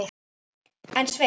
En Sveinn